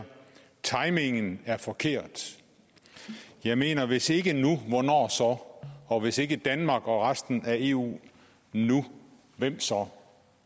timingen er forkert jeg mener hvis ikke nu hvornår så og hvis ikke danmark og resten af eu nu hvem så